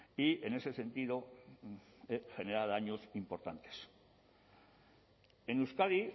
y en ese sentido genera daños importantes en euskadi